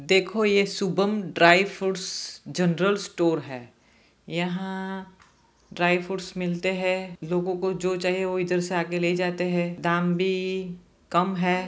देखो ये Shubham dry fruits general store है यहां ड्राइ फ्रूट्स मिलते है लोगों को जो चाहिए वो इधर से आके ले जाते है दाम भी कम है।